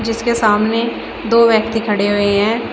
जिसके सामने दो व्यक्ति खड़े हुए हैं।